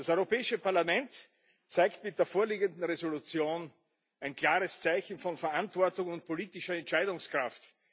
Das Europäische Parlament zeigt mit der vorliegenden Entschließung ein klares Zeichen von Verantwortung und politischer Entscheidungskraft.